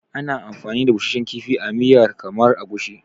Ana amfani da busasshen kifi a miyar kamar Egusi.